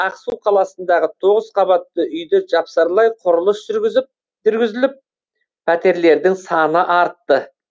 ақсу қаласындағы тоғыз қабатты үйді жапсарлай құрылыс жүргізіліп пәтерлердің саны артты